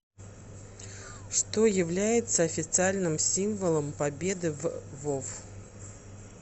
что является официальным символом победы в вов